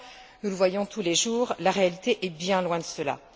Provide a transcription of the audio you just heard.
Pourtant, nous le voyons tous les jours, la réalité est bien loin de cela.